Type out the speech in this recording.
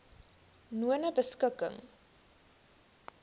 nonebeskikking